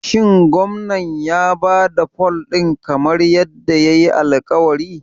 Shin Gwamnan ya ba da fol ɗin kamar yadda yayi alƙawari?